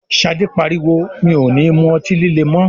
Ṣadé pariwo "mi ò ní mú ọtí líle mọ!́".